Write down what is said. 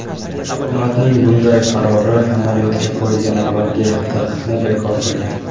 Hukumatning bunday qarori amaliyotga qo‘yilgan avvalgi taqiqni bekor qilgan.